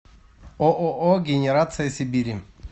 ооо генерация сибири